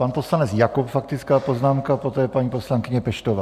Pan poslanec Jakob faktická poznámka, poté paní poslankyně Peštová.